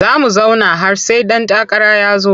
Za mu zauna har sai ɗan takara ya zo.